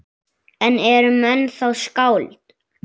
En eru menn þá skáld?